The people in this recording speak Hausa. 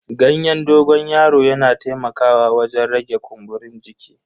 Ganyen dogon yaron yana taimakawa wajen rage kumburin jiki.